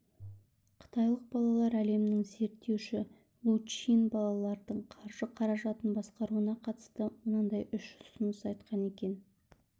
қытайлық балалар әлемін зерттеуші лу чин балалардың қаржы-қаражатын басқаруына қатысты мынадай үш ұсыныс айтқан екен